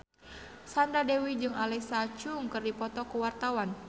Sandra Dewi jeung Alexa Chung keur dipoto ku wartawan